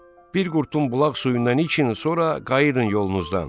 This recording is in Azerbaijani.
Bir qurtum bulaq suyundan için, sonra qayıdın yolunuzdan.